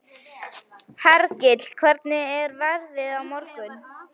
Hergill, hvernig er veðrið á morgun?